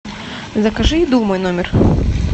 закажи еду в мой номер